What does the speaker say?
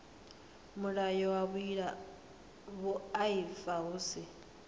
mulayo wa vhuaifa hu si